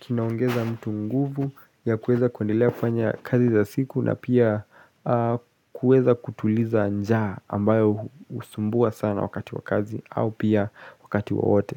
kinaongeza mtu nguvu ya kueza kundilea kufanya kazi za siku na pia kueza kutuliza njaa ambayo usumbua sana wakati wa kazi au pia wakati waote.